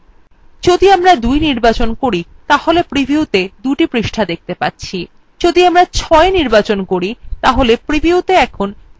যদি আমরা ২ নির্বাচন করি তাহলে previewত়ে ২the পৃষ্ঠা দেখত়ে পাচ্ছি যদি আমরা ৬ নির্বাচন করি তাহলে প্রিভিউতে আমরা ৬ the পৃষ্ঠা দেখতে পাব